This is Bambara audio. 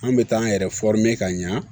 An bɛ taa an yɛrɛ ka ɲɛ